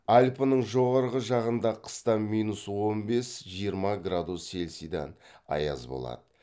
альпінің жоғарғы жағында қыста минус он бес жиырма градус селсида аяз болады